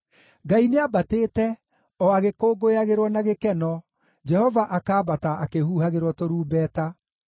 Ngai nĩambatĩte, o agĩkũngũyagĩrwo na gĩkeno, Jehova akaambata akĩhuhagĩrwo tũrumbeta.